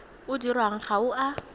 o dirwang ga o a